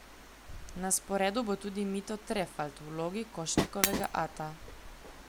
Na sporedu bo tudi Mito Trefalt v vlogi Košnikovega ata.